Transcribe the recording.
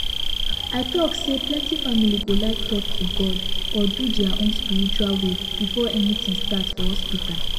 i talk sayplenty family go like talk to god or do their own spiritual way before anything start for hospital